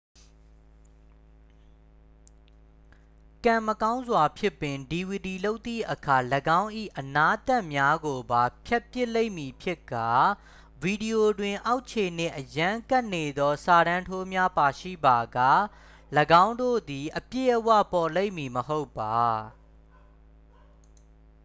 ကံမကောင်းစွာဖြင့်ပင် dvd လုပ်သည့်အခါ ၎င်း၏အနားသတ်များကိုပါ ဖြတ်ပစ်လိမ့်မည်ဖြစ်ကာ ဗီဒီယိုတွင် အောက်ခြေနှင့်အရမ်းကပ်နေသော စာတန်းထိုးများပါရှိပါက ၎င်းတို့သည် အပြည့်အဝပေါ်လိမ့်မည်မဟုတ်ပါ